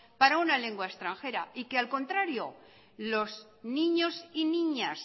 para una lengua extranjera y que al contrario los niños y niñas